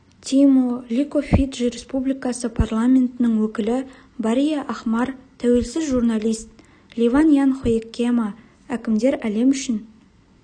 тимо лико фиджи республикасы парламентінің өкілі бария ахмар тәуелсіз журналист ливан ян хоекема әкімдер әлем үшін